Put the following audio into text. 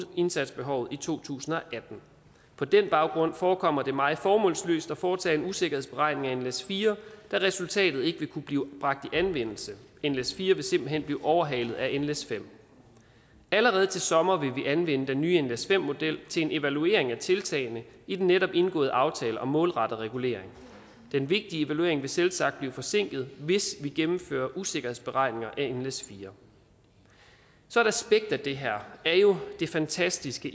indsatsbehovet i to tusind og atten på den baggrund forekommer det mig formålsløst at foretage en usikkerhedsberegning af nles4 da resultatet ikke vil kunne blive bragt i anvendelse nles4 vil simpelt hen blive overhalet af nles5 allerede til sommer vil vi anvende den nye nles5 model til en evaluering af tiltagene i den netop indgåede aftale om målrettet regulering den vigtige evaluering vil selvsagt blive forsinket hvis vi gennemfører usikkerhedsberegninger af nles4 så et aspekt af det her er jo det fantastiske